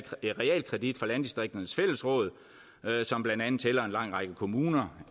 realkredit fra landdistrikternes fællesråd som blandt andet tæller en lang række kommuner